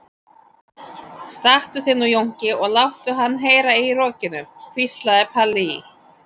Stattu þig nú Jónki og láttu hann heyra í rokinu, hvíslaði Palli í